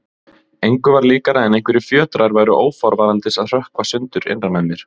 Engu var líkara en einhverjir fjötrar væru óforvarandis að hrökkva sundur innra með mér.